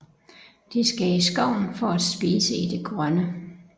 De skal i skoven for at spise i det grønne